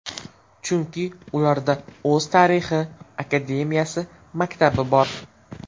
Chunki ularda o‘z tarixi, akademiyasi, maktabi bor.